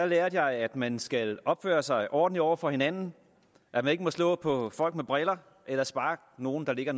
lærte jeg at man skal opføre sig ordentligt over for hinanden at man ikke må slå på folk med briller eller sparke nogen der ligger